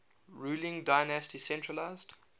ruling dynasty centralised